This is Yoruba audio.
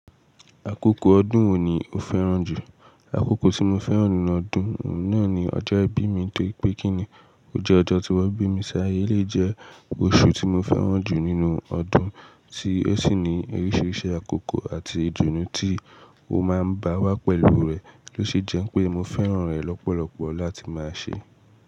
Àkókò ọdún wo ni o fẹ́ràn jù? Àkókò tí mo fẹ́ràn nínú ọdún náà ni ọjọ́ ìbí mi torí pé kíni ó jẹ́ ọjọ́ tí wọ́n bí mi sí ayé, lè jẹ́ oṣù tí mo fẹ́ràn jù nínú ọdún tí ó sì ní oríṣiríṣi àkókò àti ìdùnnú tí ó máa ń bá wá pẹ̀lú rẹ̀ oó ṣe jẹ́ pé mo fẹ́ràn rẹ̀ lọ́pọ̀lọpọ̀ láti máa ṣe.